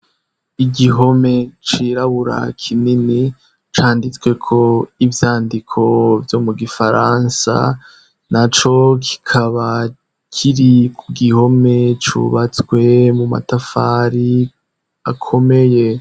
Igihome cirabura kinini canditsweko ivyandiko vyo mu gifaransa, naco kikaba kiri ku gihome cubatswe mu matafari akomeye.